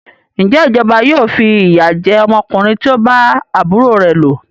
Ǹjẹ́ ìjọba yóò fi ìyà jẹ ọmọkùnrin tí o bá àbúrò rẹ lò?